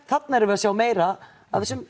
þarna erum við að sjá meira af þessum